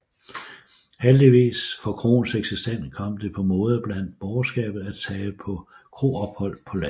Heldigvis for kroens eksistens kom det på mode blandt borgerskabet at tage på kroophold på landet